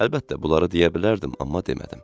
Əlbəttə, bunları deyə bilərdim, amma demədim.